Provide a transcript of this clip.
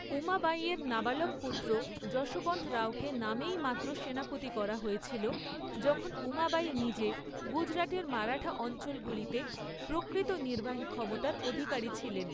উমাবাঈয়ের নাবালক পুত্র যশবন্ত রাওকে নামেই মাত্র সেনাপতি করা হয়েছিল, যখন উমাবাঈ নিজে গুজরাটের মারাঠা অঞ্চলগুলিতে প্রকৃত নির্বাহী ক্ষমতার অধিকারী ছিলেন।